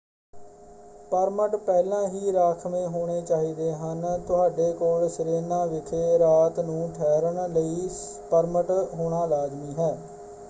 Permit ਪਹਿਲਾਂ ਹੀ ਰਾਖਵੇਂ ਹੋਣੇ ਚਾਹੀਦੇ ਹਨ। ਤੁਹਾਡੇ ਕੋਲ ਸਿਰੇਨਾ ਵਿਖੇ ਰਾਤ ਨੂੰ ਠਹਿਰਣ ਲਈ ਪਰਮਿਟ ਹੋਣਾ ਲਾਜ਼ਮੀ ਹੈ।